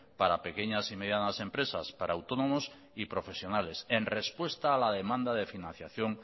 para pequeñas y medianas empresas para autónomos y profesionales en respuesta a la demanda de financiación